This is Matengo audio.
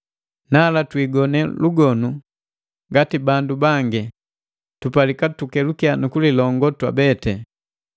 Nala twiigone lugonu ngati bandu bangi, tutakiwa tukelukya nu kulilongo twabete.